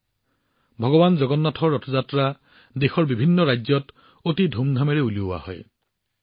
দেশৰ বিভিন্ন ৰাজ্যত ভগৱান জগন্নাথৰ ৰথ যাত্ৰা অতি আড়ম্বৰপূৰ্ণভাৱে উলিওৱা হয়